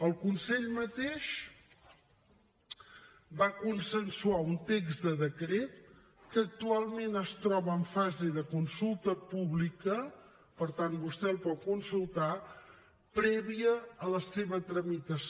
el consell mateix va consensuar un text de decret que actualment es troba en fase de consulta pública per tant vostè el pot consultar prèvia a la seva tramitació